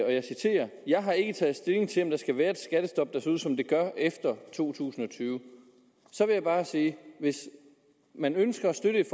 og jeg citerer jeg har ikke taget stilling til om der skal være et skattestop der ser ud som det gør efter to tusind og tyve så vil jeg bare sige hvis man ønsker at støtte et